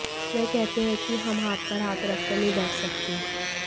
वह कहते हैं कि हम हाथ पर हाथ रखकर नहीं बैठ सकते